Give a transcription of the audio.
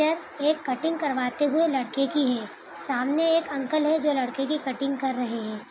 यह एक कटिंग करवाते हुए लड़के की है सामने एक अंकल है जो लड़के की कलिंग कर रहे है।